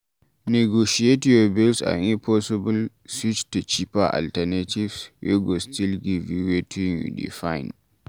Negotiate your bills and if possible switch to cheaper alternatives wey go still give you wetin you dey find